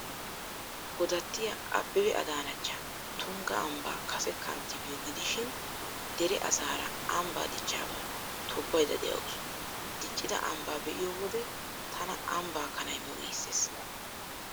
Godattiyaa Abeebe Adaanachcha Tungga ambbaa kase kanttibiyoo gidishin, dere asaara ambbaa dichchaabaa tobbaydda de'awusu. Diccida ambbaa be'iyoo wode '' tana ambbaa kanay mo'' giissees.